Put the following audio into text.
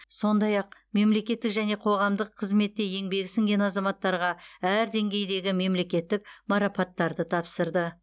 сондай ақ мемлекеттік және қоғамдық қызметте еңбегі сіңген азаматтарға әр деңгейдегі мемлекеттік марапаттарды тапсырды